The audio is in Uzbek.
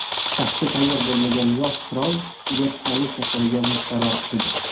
Taxtga tayyor bo‘lmagan yosh qirol uyatchanlik kasaliga mubtalo edi.